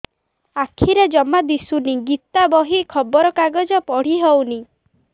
ଆଖିରେ ଜମା ଦୁଶୁନି ଗୀତା ବହି ଖବର କାଗଜ ପଢି ହଉନି